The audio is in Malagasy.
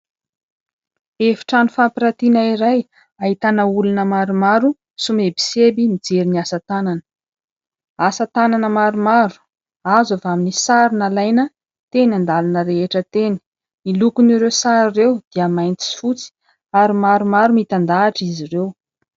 Efitrano fampiratiana iray ahitana olona maromaro somebiseby mijery ny asa tanana. Asa tanana maromaro azo avy amin'ny sary nalaina teny an-dalana rehetra teny. Ny lokon' ireo sary ireo dia mainty sy fotsy ary maromaro mitandahatra izy ireo.